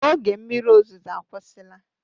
Oge mmiri ozuzo agwusila.